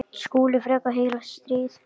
SKÚLI: Frekar heilagt stríð!